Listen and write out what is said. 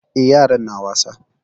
Eh, yaran na wasa.